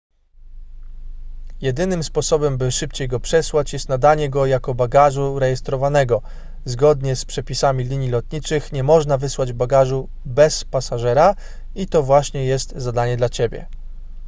jedynym sposobem by szybciej go przesłać jest nadanie go jako bagażu rejestrowanego zgodnie z przepisami linii lotniczych nie można wysłać bagażu bez pasażera i to właśnie jest zadanie dla ciebie